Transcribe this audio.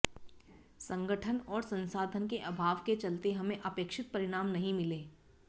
संगठन और संसाधन के अभाव के चलते हमें अपेक्षित परिणाम नहीं मिले